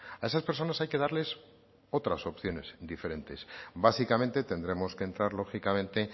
a esas personas hay que darles otras opciones diferentes básicamente tendremos que entrar lógicamente